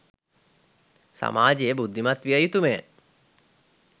සමාජය බුද්ධිමත් විය යුතුමය